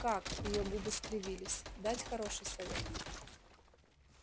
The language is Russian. как её губы скривились дать хороший совет